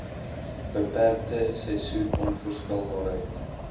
beperkte seisoen onvoorspelbaarheid